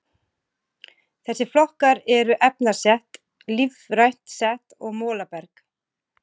Þessir flokkar eru efnaset, lífrænt set og molaberg.